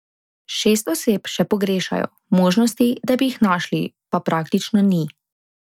Šest oseb še pogrešajo, možnosti, da bi jih našli, pa praktično ni.